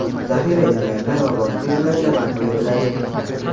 zaxira yerlarda va boshqa yerlarda barpo etiladi.